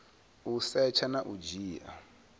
u setsha na u dzhia